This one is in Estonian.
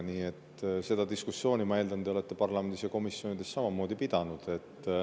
Nii et seda diskussiooni, ma eeldan, te olete parlamendis ja komisjonides samamoodi pidanud.